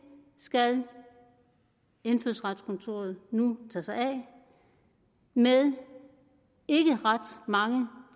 skal indfødsretskontoret nu tage sig af med ikke ret mange